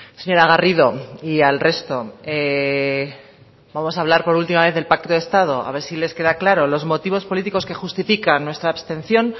señora garrido y al resto vamos a hablar por última vez del pacto de estado a ver si les queda claro los motivos políticos que justifican nuestra abstención